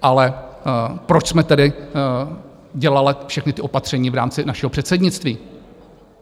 Ale proč jsme tedy dělali všechna ta opatření v rámci našeho předsednictví?